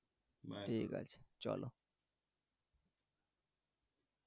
ঠিক আছে চলো.